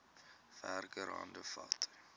werker hande vat